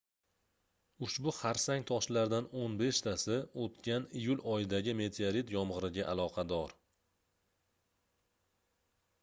ushbu xarsang toshlardan oʻn beshtasi oʻtgan iyul oyidagi meteorit yomgʻiriga aloqador